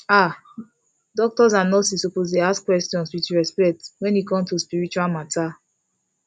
ah doctors and nurses suppose dey ask questions with respect wen e come to spiritual matter